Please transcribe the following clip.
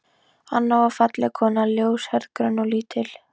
Anna var falleg kona, ljóshærð, grönn og lítil.